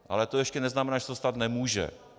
Ale to ještě neznamená, že se to stát nemůže.